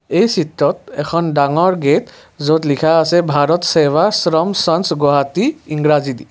এই চিত্ৰত এখন ডাঙৰ গেট য'ত লিখা আছে ভাৰত চেবা আশ্ৰম চানছ গুৱাহাটী ইংৰাজী দি।